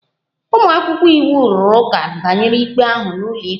Ụmụ akwụkwọ iwu rụrụ ụka banyere ikpe ahụ n'ụlọikpe